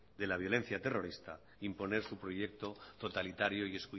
de la violencia terrorista imponer su proyecto totalitario